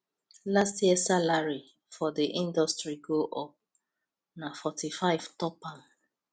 last year salary for the industry go up na 45 top am